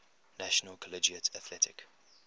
national collegiate athletic